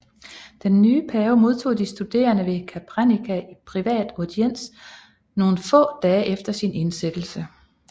Den nye pave modtog de studerende ved Capranica i privat audiens nogle få dage efter sin indsættelse